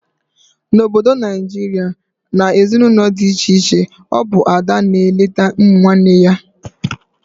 Na Obodo Naijiria, na ezinaụlọ dị iche iche, ọ bụ Ada na eneta ụmụ nwanne ya